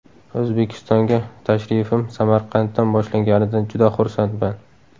O‘zbekistonga tashrifim Samarqanddan boshlanganidan juda xursandman.